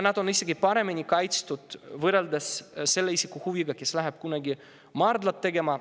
Need on isegi paremini kaitstud võrreldes selle isiku huviga, kes läheb kunagi tegema.